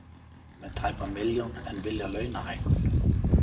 Með tæpa milljón en vilja launahækkun